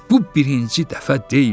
Bu birinci dəfə deyildi.